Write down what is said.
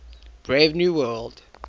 brave new world